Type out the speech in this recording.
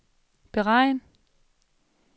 beregn